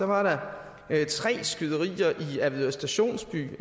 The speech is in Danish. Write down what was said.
var der tre skyderier i avedøre stationsby